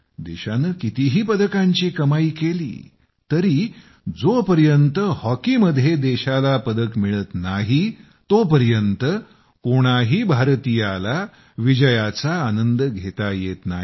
देशानं कितीही पदकांची कमाई केली तरी जोपर्यंत हॉकीमध्ये देशाला पदक मिळत नाही तोपर्यंत कोणाही भारतीयांना विजयाचा आनंद घेता येत नाही